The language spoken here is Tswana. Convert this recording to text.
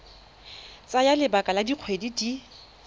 tsaya lebaka la dikgwedi di